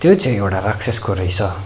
यो चाहिँ एउडा राक्षसको रहेछ।